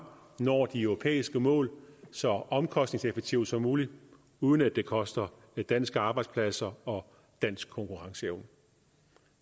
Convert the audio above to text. når de europæiske mål så omkostningseffektivt som muligt uden at det koster danske arbejdspladser og dansk konkurrenceevne